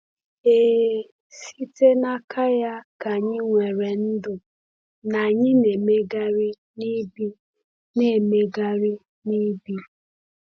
Ee, “site n’aka ya ka anyị nwere ndụ, na anyị na-emegharị na ibi.” na-emegharị na ibi.”